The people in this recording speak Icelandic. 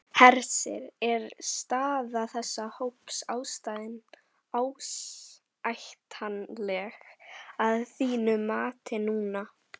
Hersir: Er staða þessa hóps ásættanleg að þínu mati núna?